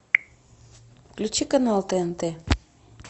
включи канал тнт